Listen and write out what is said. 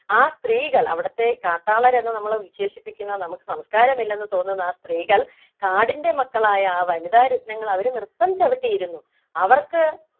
ആ സ്ത്രീകൾ അവിടുത്തെ കാട്ടാളര് എന്ന് നമ്മൾ വിശേഷിപ്പിക്കുന്ന നമുക്ക് സംസ്കാരം ഇല്ലെന്ന് തോന്നുന്ന ആ സ്ത്രീകൾ കാടിൻ്റെ മക്കളായ ആ വനിതാ രത്നങ്ങൾ അവര് നൃത്തം ചവിട്ടിയിരുന്നു അവർക്ക്